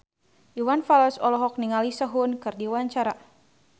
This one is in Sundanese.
Iwan Fals olohok ningali Sehun keur diwawancara